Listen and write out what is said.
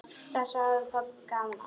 Þessu hafði pabbi gaman af.